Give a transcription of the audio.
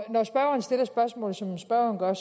når spørgeren stiller spørgsmålet som spørgeren